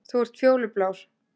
Þú ert fjólublár